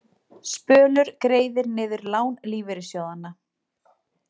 Spölur greiðir niður lán lífeyrissjóðanna